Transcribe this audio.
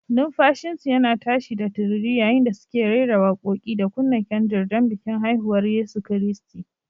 Numfashinsu yana tashi da tururi yayin da suke rera waƙoƙi da kunna kyandir don bikin haihuwar Yesu Kiristi.